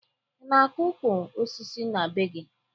Ị na-akọ ukwu osisi na be gị?